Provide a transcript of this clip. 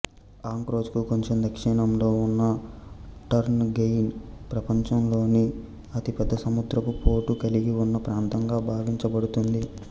అంక్రోజ్ కు కొంచెం దక్షిణంలో ఉన్న టర్నగెయిన్ ప్రపంచంలోని అతి పెద్ద సముద్రపుపోటు కలిగి ఉన్న ప్రాంతంగా భావించబడుతుంది